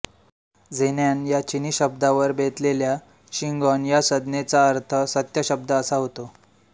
झेन्यान या चिनी शब्दावर बेतलेल्या शिंगॉन या संज्ञेचा अर्थ सत्य शब्द असा होतो